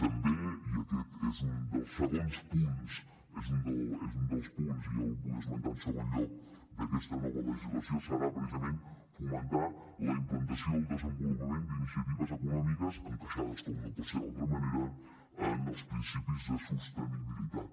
també un dels punts i el vull esmentar en segon lloc d’aquesta nova legislació serà precisament fomentar la implantació i el desenvolupament d’iniciatives econòmiques encaixades com no pot ser d’altra manera en els principis de sostenibilitat